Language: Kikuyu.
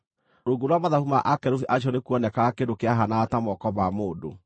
(Rungu rwa mathagu ma akerubi acio nĩkuonekaga kĩndũ kĩahaanaga ta moko ma mũndũ.)